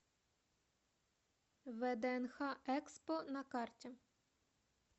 вднх экспо на карте